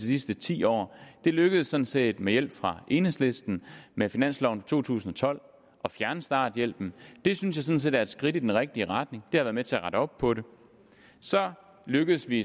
sidste ti år det lykkedes sådan set med hjælp fra enhedslisten med finansloven for to tusind og tolv at fjerne starthjælpen det synes jeg sådan set er et skridt i den rigtige retning det har været med til at rette op på det så lykkedes vi